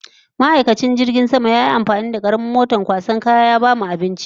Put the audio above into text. Ma'aikacin jirgin sama yayi amfani da karamin moton kwasan kaya ya bamu abinci